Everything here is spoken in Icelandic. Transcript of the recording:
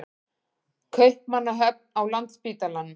Kaupmannahöfn, á Landspítalanum.